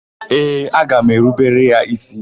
Ee, aga m erubere ya ísí.